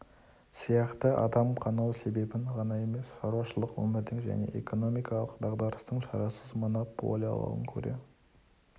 сияқты адамды адам қанау себебін ғана емес шаруашылық өмірдің және экономикалық дағдарыстың шарасыз монополиялығын көре